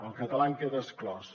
el català en queda exclòs